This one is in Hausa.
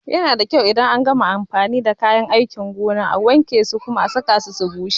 Ana so idan an gama amfani da kayan aiki a gona a wanke a kuma saka su a rana su bushe.